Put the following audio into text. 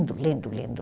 Lindo, lindo